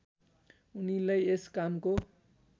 उनीलाई यस कामको